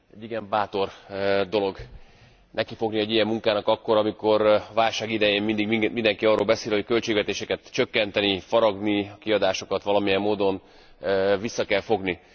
Igen bátor dolog nekifogni egy ilyen munkának akkor, amikor válság idején mindig mindenki arról beszél, hogy a költségvetéseket csökkenteni, faragni, a kiadásokat valamilyen módon vissza kell fogni.